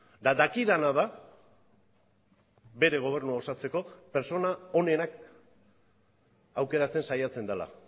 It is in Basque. eta dakidana da bere gobernua osatzeko pertsona onenak aukeratzen saiatzen dela